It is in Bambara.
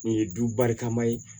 Nin ye dubakama ye